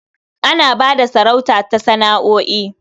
Ana ba da sarauta ta sana'o'i.